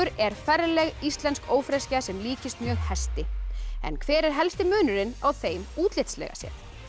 er ferleg íslensk ófreskja sem líkist mjög hesti en hver er helsti munurinn á þeim útlitslega séð